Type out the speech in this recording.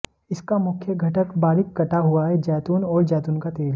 इसका मुख्य घटक बारीक कटा हुआ है जैतून और जैतून का तेल